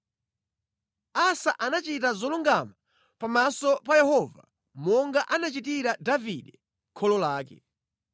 Asa anachita zolungama pamaso pa Yehova monga anachitira Davide kholo lake.